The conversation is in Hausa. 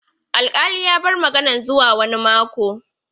Alkali ya bar maganan zuwa wani mako.